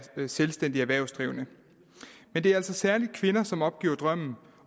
selvstændige erhvervsdrivende men det er altså særlig kvinder som opgiver drømmen